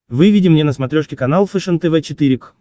выведи мне на смотрешке канал фэшен тв четыре к